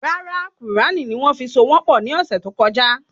Rárá Qùránì ni wón fi so wọn pọ ni ọsẹ tó kọjá